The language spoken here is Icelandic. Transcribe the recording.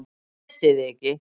ÉTI ÞIG EKKI!